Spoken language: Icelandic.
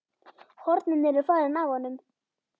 Hornin eru farin af honum.